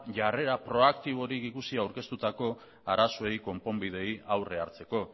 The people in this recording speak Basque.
jarrera proaktiborik ikusi aurkeztuta arazoei konponbideei aurre hartzeko